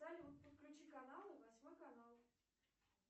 салют подключи каналы восьмой канал